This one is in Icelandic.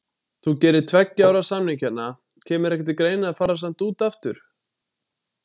Þú gerir tveggja ára samning hérna, kemur ekki til greina að fara samt út aftur?